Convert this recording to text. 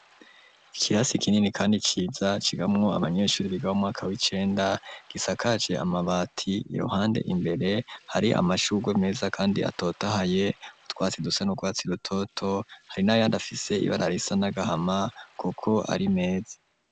Ikirasi kinini kandi ciza, cigamwo abanyeshuri biga mu mwaka w'icenda, gisakaje amabati, iruhande imbere hari amashurwe meza kandi atotahaye, utwatsi dusa n'urwatsi rutoto, hari n’ayandi afise ibara risa n'agahama, kuko ari meza.